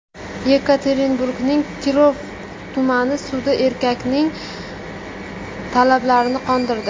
Yekaterinburgning Kirov tumani sudi erkakning talablarini qondirdi.